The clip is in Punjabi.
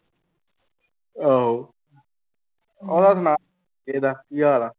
ਆਹੋ ਉਹਦਾ ਸੁਣਾ ਕੀ ਹਾਲ ਆ?